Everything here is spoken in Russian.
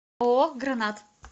ооо гранат